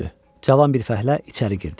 Cavan bir fəhlə içəri girdi.